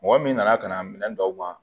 Mɔgɔ min nana ka na minɛn dɔw ban